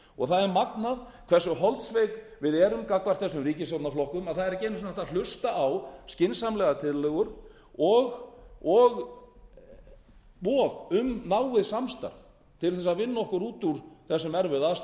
þetta sjálfstæðismenn og það er magnað hversu holdsveik við erum gagnvart þessum ríkisstjórnarflokkum að það er ekki einu sinni hægt að hlusta á skynsamlegar tillögur og von um náið samstarf til að vinna okkur út úr þessum erfiðu aðstæðum